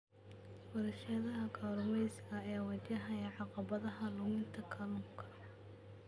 Warshadaha kalluumeysiga ayaa wajahaya caqabadaha luminta kalluunka.